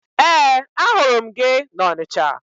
Ee, ahụrụ m gị na Ọnịcha